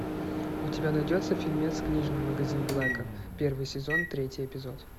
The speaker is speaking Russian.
у тебя найдется фильмец книжный магазин блэка первый сезон третий эпизод